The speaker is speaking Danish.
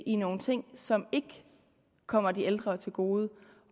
i nogle ting som ikke kommer de ældre til gode